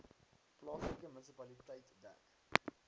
plaaslike munisipaliteit dek